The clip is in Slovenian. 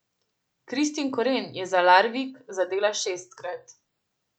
Kristin Koren je za Larvik zadela šestkrat.